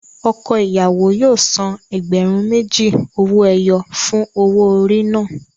Ọkọ ìyàwó yóò san ẹgbẹ̀rún méjì owó ẹyọ fún owó orí náà.